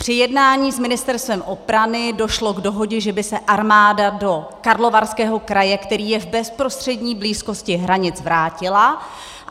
Při jednání s Ministerstvem obrany došlo k dohodě, že by se armáda do Karlovarského kraje, který je v bezprostřední blízkosti hranic, vrátila.